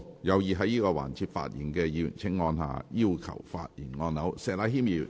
有意在這個環節發言的議員請按下"要求發言"按鈕。